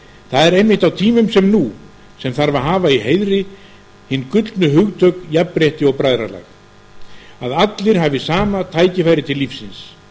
það er einmitt á tímum sem nú sem þarf að hafa í heiðri hin gullnu hugtök jafnrétti og bræðralag að allir hafi sama tækifæri til lífsins